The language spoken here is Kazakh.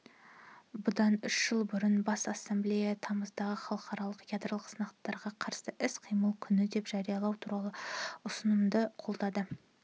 бұдан үш жыл бұрын бас ассамблеясы тамызды халықаралық ядролық сынақтарға қарсы іс-қимыл күні деп жариялау туралы ұсынысымды қолдады